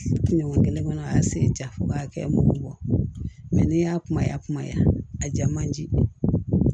Ɲɔgɔn kelen kɔnɔ an y'a sen ja fo k'a kɛ mugu bɔ mɛ n'i y'a kumaya kumaya a ja man di